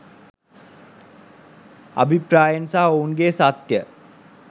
අභිප්‍රායන් සහ ඔවුන්ගේ සත්‍යය